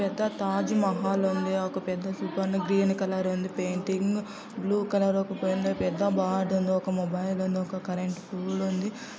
పెద్ద తాజ్ మహల్ ఉంది ఒక పెద్ద గ్రీన్ కలర్ ఉంది పెయింటింగ్ బ్లూ కలర్ మొబైల్ ఉంది ఒక కరెంటు పోల్ ఉంది.